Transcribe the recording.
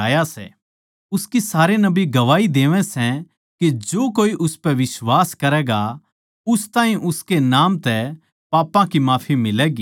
उसकी सारे नबी गवाही देवैं सै के जो कोए उसपै बिश्वास करैगा उस ताहीं उसकै नाम तै पापां की माफी मिलैगी